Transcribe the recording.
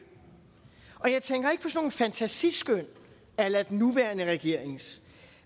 og jeg tænker ikke på sådan nogle fantasiskøn a la den nuværende regerings